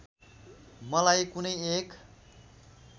मलाई कुनै एक